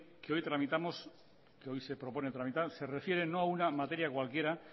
que hoy tramitamos que hoy se propone tramitar se refiere no a una materia cualquiera